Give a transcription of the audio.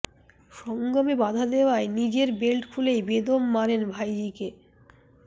সঙ্গমে বাধা দেওয়ায় নিজের বেল্ট খুলেই বেদম মারেন ভাইজিকে